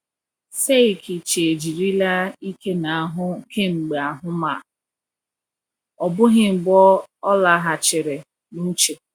Seikichi ejirila ike n’ahụ kemgbe ahụ ma ọ bụghị mgbe ọ laghachiri n’uche.